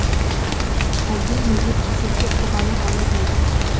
әлде неге кезекке тұрғаны анық еді